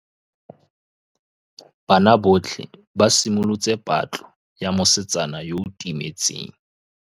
Banna botlhê ba simolotse patlô ya mosetsana yo o timetseng.